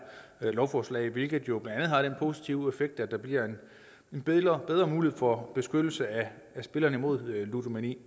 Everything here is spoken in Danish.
lovforslag hvilket jo blandt andet har den positive effekt at der bliver en bedre mulighed for beskyttelse af spillere mod ludomani